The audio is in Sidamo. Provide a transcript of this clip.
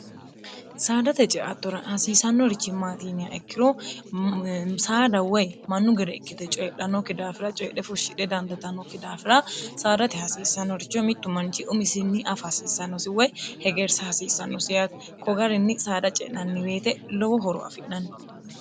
saadate ceattora hasiisannorichi maatiiniya ikkiro saada woy mannu gere ikkite coyidhannokki daafira coyidhe fushshidhe dandatannokki daafira saadate hasiissannoricho mittu manchi umisinni afa hasiissannosi woy hegeersa hasiissannosiyaati kogarinni saada ce'nanni beete lowo horo afi'nanni